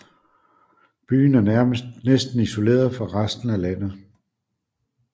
Byen er næsten isoleret fra resten af landet